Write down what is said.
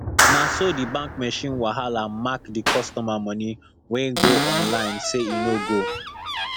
na so the bank machine wahala mark the customer money wey go online say e no go